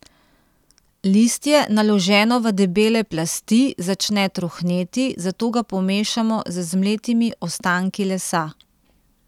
Listje, naloženo v debele plasti, začne trohneti, zato ga pomešamo z zmletimi ostanki lesa.